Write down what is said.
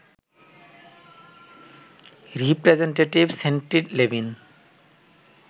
representative Sandy Levin